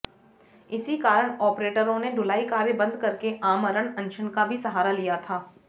इसी कारण आपरेटरों ने ढुलाई कार्य बंद करके आमरण अनशन का भी सहारा लिया था